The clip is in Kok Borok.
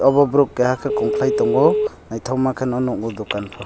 obo borok keha kongkhlai tongo naithokma khe no nukgo dukan bo.